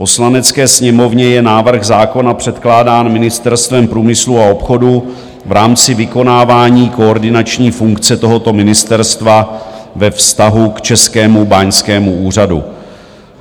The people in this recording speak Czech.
Poslanecké sněmovně je návrh zákona předkládán Ministerstvem průmyslu a obchodu v rámci vykonávání koordinační funkce tohoto ministerstva ve vztahu k Českému báňskému úřadu.